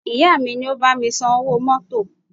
Ìyá mi ni ó bá mi san owó mọ́tọ̀.